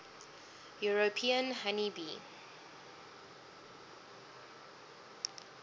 european honey bee